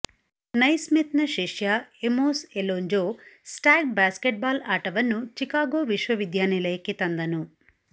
ನೈಸ್ಮಿತ್ನ ಶಿಷ್ಯ Amos Alonzo Stagg basketball ಆಟವನ್ನು Chicago ವಿಶ್ವವಿದ್ಯಾನಿಲಯಕ್ಕೆ ತಂದನು